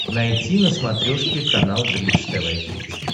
найти на смотрешке канал бридж тв хитс